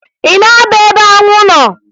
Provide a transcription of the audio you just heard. Ị na-aba ebe anwụ nọ?